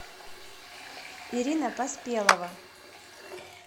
ирина поспелова